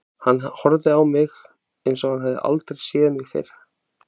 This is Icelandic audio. Hann horfði á mig, eins og hann hefði aldrei séð mig fyrr.